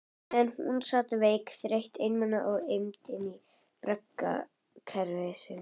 Meðan hún sat veik, þreytt og einmana í eymd braggahverfisins.